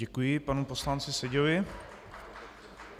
Děkuji panu poslanci Seďovi.